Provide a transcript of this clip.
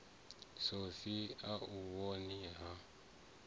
sofi a u vhoni ha